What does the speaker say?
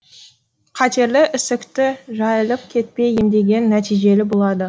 қатерлі ісікті жайылып кетпей емдеген нәтижелі болады